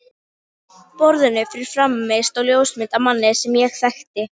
borðinu fyrir framan mig stóð ljósmynd af manni sem ég þekkti.